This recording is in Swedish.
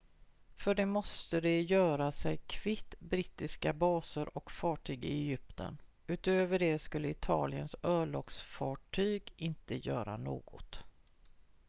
för det måste de göra sig kvitt brittiska baser och fartyg i egypten utöver det skulle italiens örlogsfartyg inte göra något